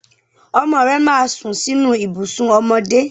Ọmọ rẹ máa sùn sínú ibùsùn ọmọdé.